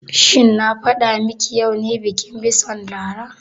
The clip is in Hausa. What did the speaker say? Shin na faɗa ma ki yau ne bikin bison Lara?